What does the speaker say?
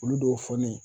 Olu dɔw fɔ ne ye